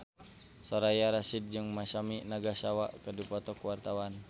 Soraya Rasyid jeung Masami Nagasawa keur dipoto ku wartawan